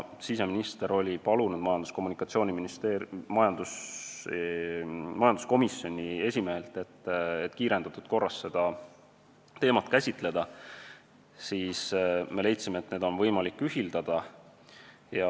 Siseminister oli majanduskomisjoni esimehelt palunud seda teemat kiirendatud korras käsitleda ja me leidsime, et neid asju on võimalik ühildada.